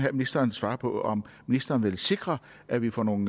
at ministeren svarer på om ministeren vil sikre at vi får nogle